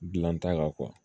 Gilan ta kan